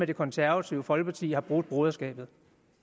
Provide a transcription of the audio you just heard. det konservative folkeparti har brudt broderskabet